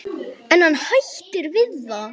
En hann hættir við það.